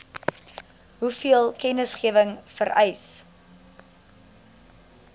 hoeveel kennisgewing vereis